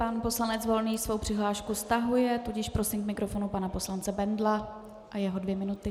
Pan poslanec Volný svou přihlášku stahuje, tudíž prosím k mikrofonu pana poslance Bendla a jeho dvě minuty.